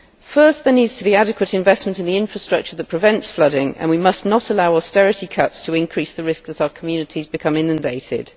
First there needs to be adequate investment in the infrastructure that prevents flooding, and we must not allow austerity cuts to increase the risk as our communities become inundated.